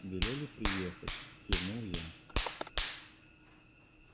велели приехать кивнул я